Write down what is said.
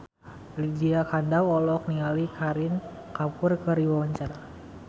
Lydia Kandou olohok ningali Kareena Kapoor keur diwawancara